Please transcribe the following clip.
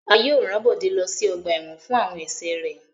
A yóò ran Bode lo si ọgba ẹ́wọ̀n fun awọn ẹṣẹ rẹ